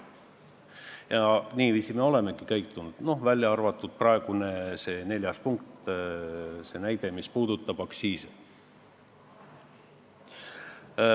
Ja niiviisi me olemegi käitunud, välja arvatud neljas punkt, mis puudutab aktsiise.